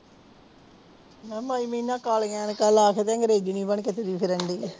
ਨੀ ਮਾਈ ਮੀਨਾ ਕਾਲੀਆਂ ਐਨਕਾਂ ਲਾ ਕੇ ਐਗਰੇਜਨੀ ਬਣ ਕੇ ਤੁਰੀ ਫਿਰਨ ਦੀ